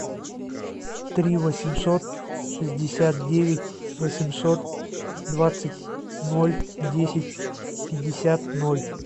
три восемьсот шестьдесят девять восемьсот двадцать ноль десять пятьдесят ноль